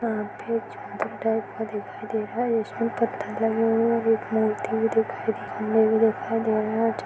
जहां पे चबूतरा टाइप का दिखाई दे रहा है इस में पत्थर लगे हुवे हैं इस में एक मूर्ति भी दिखाई दे रही है --]